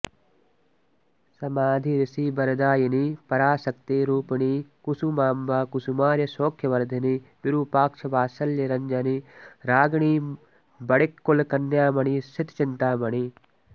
समाधि ऋषि वरदायिनि पराशक्तिरूपिणि कुसुमाम्ब कुसुमार्य सौख्यवर्धिनि विरूपाक्ष वात्सल्य रञ्जनि रागिणि वणिक्कुलकन्यामणि श्रितचिन्तामणि